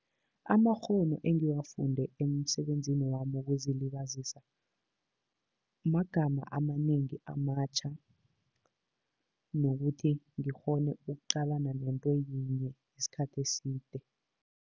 Amakghono engiwafunde emsebenzini wami wokuzilibazisa, magama amanengi amatjha nokuthi ngikghone ukuqalana nento yinye isikhathi eside.